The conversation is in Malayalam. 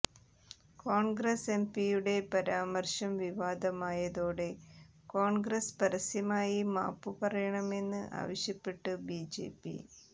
കോൺഗ്രസ് എംപിയുടെ പരാമർശം വിവാദമായതോടെ കോൺഗ്രസ് പരസ്യമായി മാപ്പുപറയണമെന്ന് ആവശ്യപ്പെട്ട് ബിജെപി